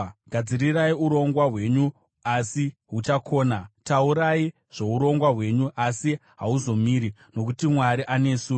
Gadzirirai urongwa hwenyu, asi huchakona; Taurai zvourongwa hwenyu, asi hauzomiri, nokuti Mwari anesu.